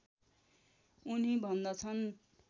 उनी भन्दछन्